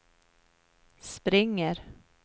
springer